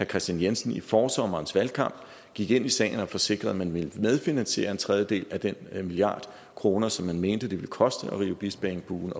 kristian jensen i forsommerens valgkamp gik ind i sagen og forsikrede at man ville medfinansiere en tredjedel af den milliard kroner som man mente det ville koste at nedrive bispeengbuen